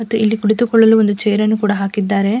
ಮತ್ತು ಇಲ್ಲಿ ಕುಳಿತುಕೊಳ್ಳಲು ಒಂದು ಚೈರ್ ಅನ್ನು ಕೂಡ ಹಾಕಿದ್ದಾರೆ.